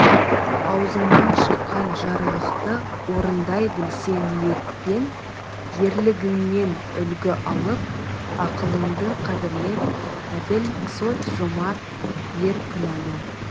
аузыңнан шыққан жарлықты орындай білсе ниетпен ерлігіңнен үлгі алып ақылыңды қадірлеп әділ сот жомарт ер күнәні